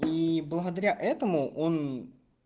и благодаря этому он